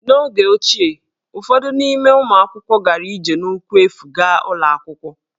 N’oge ochie, ụfọdụ n’ime ụmụ akwụkwọ gara ije n'ụkwụ efu gaa ụlọ akwụkwọ